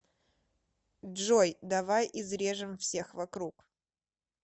джой давай изрежем всех вокруг